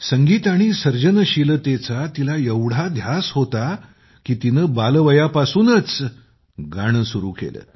संगीत आणि सर्जनशीलतेचा तिला एवढा ध्यास होता की तिने बालवयापासूनच गाणे सुरू केले